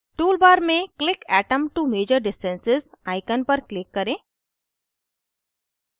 tool bar में click atom to measure distances icon पर click करें